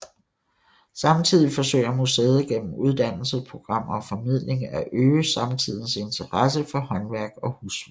Samtidig forsøger museet gennem uddannelsesprogrammer og formidling at øge samtidens interesse for håndværk og husflid